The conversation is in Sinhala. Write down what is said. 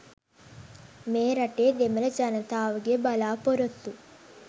මේ රටේ දෙමළ ජනතාවගේ බලාපොරොත්තු